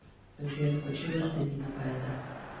сбер включи гражданина поэта